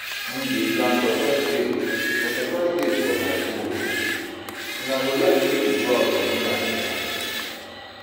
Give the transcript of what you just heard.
Me dey plan surprise date for suprise date for my boo o, Una go like make we go out for dinner tonight